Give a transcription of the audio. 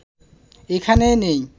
এখানে নেই